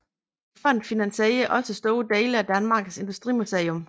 Fonden finansierer også store dele af Danmarks Industrimuseum